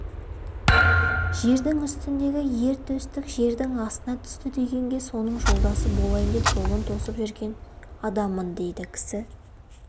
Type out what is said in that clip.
жердің үстіндегі ер төстік жердің астына түсті дегенге соның жолдасы болайын деп жолын тосып жүрген адаммын дейді кісі